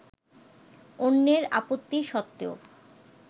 অন্যের আপত্তি সত্ত্বেও